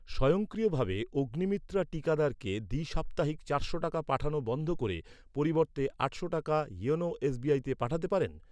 স্বয়ংক্রিয়ভাবে অগ্নিমিত্রা টীকাদারকে দ্বিসাপ্তাহিক চারশো টাকা পাঠানো বন্ধ করে পরিবর্তে আটশো টাকা ইওনো এসবিআইতে পাঠাতে পারেন?